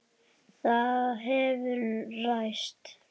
Það hefur ræst.